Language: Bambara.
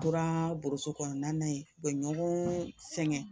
U tora boso kɔnɔna ye u bɛ ɲɔgɔn sɛgɛn